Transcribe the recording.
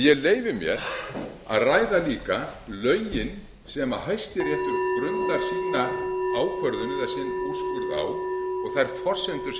ég leyfi mér að ræða líka lögin sem hæstiréttur grundar ákvörðun sína eða úrskurð á og þær forsendur sem hann gefur sér má ekki ræða þetta